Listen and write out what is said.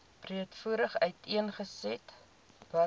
breedvoerig uiteengesit watter